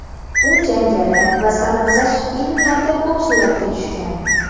U jangari va sarguzasht filmlarda ko‘p suratga tushgan.